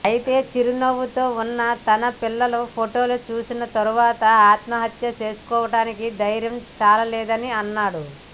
అయితే చిరునవ్వుతో ఉన్న తన పిల్లల ఫొటోలు చూసిన తర్వాత ఆత్మహత్య చేసుకోవడానికి ధైర్యం చాలలేదని అన్నాడు